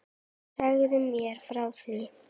Segðu mér frá því.